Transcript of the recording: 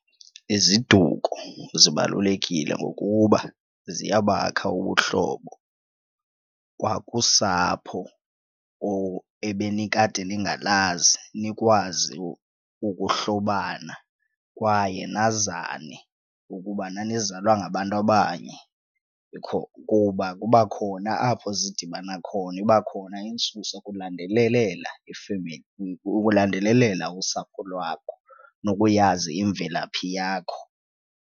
Iziduko zibalulekile ngokuba ziyabakha ubuhlobo kwakusapho ebenikade ningalazi nikwazi ukuhlobana kwaye nazane ukuba nanizalwa ngabantu abanye kuba kuba khona apho zidibana khona iba khona intsusa ukulandelelela ifemeli ukulandelelela usapho lwakho nokuyazi imvelaphi yakho.